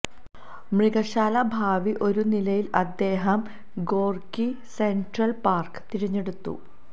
മൃഗശാല ഭാവി ഒരു നിലയിൽ അദ്ദേഹം ഗോർക്കി സെൻട്രൽ പാർക്ക് തിരഞ്ഞെടുത്തു